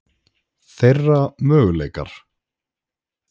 Þeirra möguleikar?